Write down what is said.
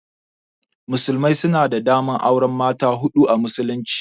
Musulmai suna da daman auran mata hudu a musulunci.